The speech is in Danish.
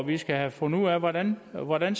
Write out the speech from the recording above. vi skal have fundet ud af hvordan hvordan